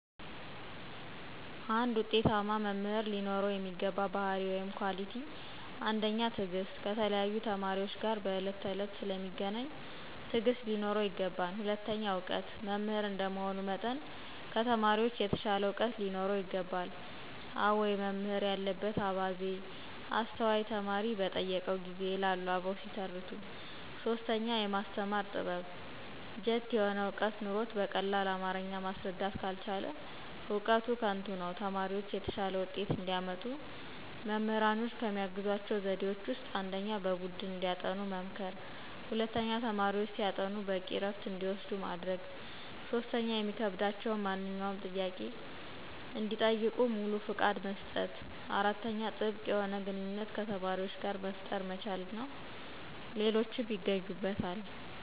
አንድ ውጤታማ መምህር ሊኖረው የሚገባ ባህርይ(Quality)፦ ፩) ትዕግስት፦ ከተለያዩ ተማሪዎች ጋር በዕለት ተዕለት ስለሚገናኝ ትዕግስት ሊኖረው ይገባል። ፪) እውቀት፦ መምህር እንደመሆኑ መጠን ከተማሪዎች የተሻለ ዕውቀት ሊኖረው ይገባል።" አዋይ መምህር ያለበት አባዜ፤ አስተዋይ ተማሪ በጠየቀው ጊዜ" ይላሉ አበው ሲተርቱ። ፫) የማስተማር ጥበብ፦ ጅት የሆነ ዕውቀት ኑሮት በቀላል አማረኛ ማስረዳት ካልቻለ እውቀቱ ከንቱ ነው። ተማሪዎች የተሻለ ውጤት እንዲያመጡ መምህራኖች ከሚያግዟቸው ዘዴዎች ውስጥ፦ ፩) በቡድን እንዲያጠኑ መምከር። ፪) ተማሪዎች ሲያጠኑ በቂ እረፍት እንዲወስዱ ማድረግ። ፫) የሚከብዳቸውን ማንኛውንም ጥያቄ እንዲጠይቁ ሙሉ ፍቃድ መስጠት። ፬)ጥብቅ የሆነ ግንኙነት ከተማሪዎች ጋር መፍጠር መቻል እና ሌሎችም ይገኙበታል።